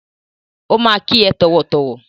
Ó máa kí ẹ tọ̀wọ̀tọ̀wọ̀.